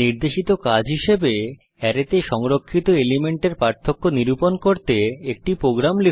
নির্দেশিত কাজ হিসাবে অ্যারেতে সংরক্ষিত এলিমেন্টের পার্থক্য নিরূপণ করতে একটি প্রোগ্রাম লিখুন